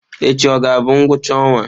Echi ọ ga-abụ ngwụcha ọnwa?